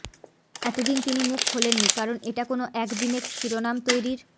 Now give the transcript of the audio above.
এতদিন তিনি মুখ খোললনি কারণ এটা কোনও একদিনেক শিরোনাম তৈরির